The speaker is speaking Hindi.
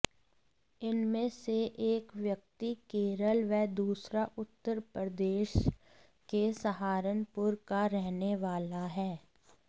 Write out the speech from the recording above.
इनमें से एक व्यक्ति केरल व दूसरा उत्तर प्रदेश के सहारनपुर का रहने वाला है